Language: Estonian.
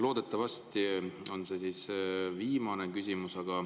Loodetavasti on see viimane küsimus.